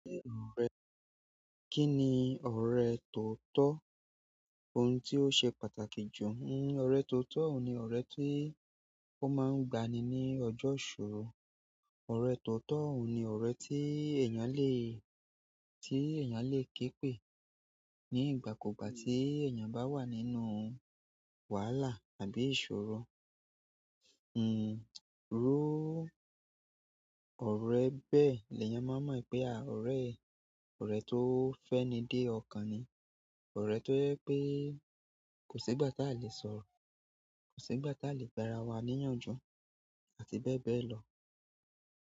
Kí ni ọ̀rẹ́? Kí ni ọ̀rẹ́ tóotọ́? Ohun tí ó ṣe pàtàkì jù. Hmm ọ̀rẹ́ tóotọ́ ni ọ̀rẹ́ tí ó máa ń gba ni ní ọjọ́ ìṣòro. Ọ̀rẹ́ tó tọ́ ni ọ̀rẹ́ tí èèyàn lè, tí èèyàn lè ké pè ní ìgbàkúgbà tí èèyàn bá wà nínú wàhálà àbí ìṣòro. Hmm ró ọ̀rẹ́ bẹ́ẹ̀ ni èèyàn máa mọ̀ pé àwọn ọ̀rẹ́, ọ̀rẹ́ tó fẹ́ni dé ọ̀kan ni, ọ̀rẹ́ tó jẹ pé kò sí ìgbà tí a lè sọ̀rọ̀, kò sí ìgbà tí a lè gbára wa níyànjú àti bẹ́ẹ̀ bẹ́ẹ̀ lọ.